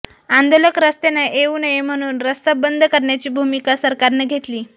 आंदोलक रस्त्यानं येऊ नये म्हणून रस्ता बंद करण्याची भूमिका सरकारनं घेतली